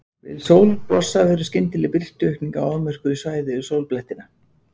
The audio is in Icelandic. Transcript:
Við sólblossa verður skyndileg birtuaukning á afmörkuðu svæði við sólblettina.